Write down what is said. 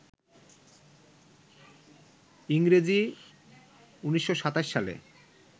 ইংরেজি ১৯২৭ সালে